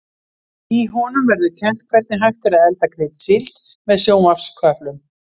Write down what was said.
Í honum verður kennt hvernig hægt er að elda kryddsíld með sjónvarpsköplum.